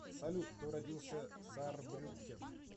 салют кто родился в саарбрюккен